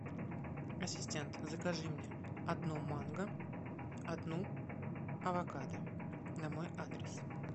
ассистент закажи мне одну манго одну авокадо на мой адрес